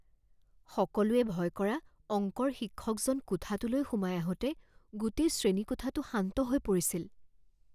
সকলোৱে ভয় কৰা অংকৰ শিক্ষকজন কোঠাটোলৈ সোমাই আহোঁতে গোটেই শ্ৰেণীকোঠাটো শান্ত হৈ পৰিছিল।